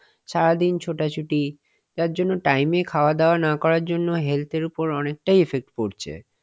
সারাদিন ছোটাছুটি যার জন্য time এ খাওয়াদাওয়া না করার জন্য health এর ওপর অনেকটাই effect পড়ছে.